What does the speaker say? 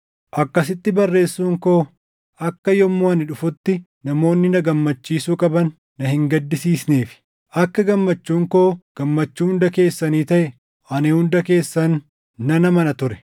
Akkasitti barreessuun koo akka yommuu ani dhufutti namoonni na gammachiisuu qaban na hin gaddisiisneefi. Akka gammachuun koo gammachuu hunda keessanii taʼe ani hunda keessan nan amana ture.